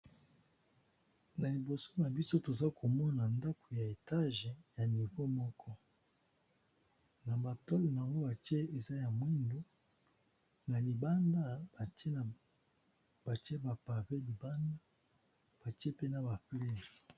Na liboso na biso toza komona ndako ya etage ya nivo moko, na matole na yango batie eza ya mwindu na libanda batie bapave libanda batie pena baplaye.